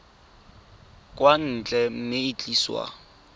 kwa ntle mme e tliswa